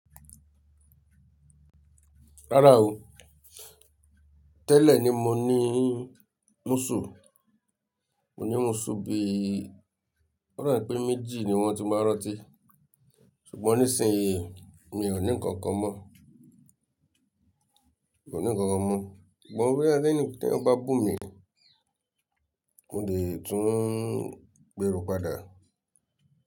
Rárá o. Tẹ́lẹ̀ ni mo ní múṣù. Mo ní múṣù bí, ó da bi pé méjì ni wọ́n ti n báa rantí. Ṣùgbọ́n nísìnyí, mi ò ní ǹkankan mọ́. Mi ò ní ǹkankan mọ́. Ṣùgbọ́n mo rí i pé tí ẹ̀ bá bù mí, mo lè tún gbèrú padà.